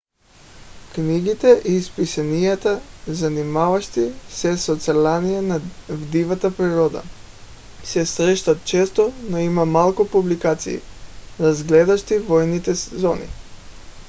книгите и списанията занимаващи се с оцеляване в дивата природа се срещат често но има малко публикации разглеждащи военните зони